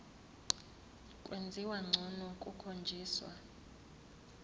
kwenziwa ngcono kukhonjiswa